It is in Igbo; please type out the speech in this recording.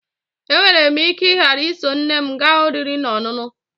E nwere m ike ghara iso nne m gaa oriri na ọṅụṅụ